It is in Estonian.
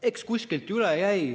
Eks kuskilt üle jäi.